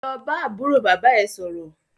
Lọ bá àbúrò bàbá é sọ̀rọ̀!